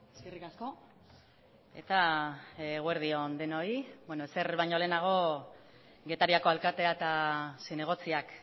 eskerrik asko eta eguerdi on denoi ezer baino lehenago getariako alkatea eta zinegotziak